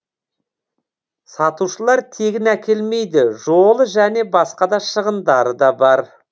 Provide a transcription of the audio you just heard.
сатушылар тегін әкелмейді жолы және басқа да шығындары да бар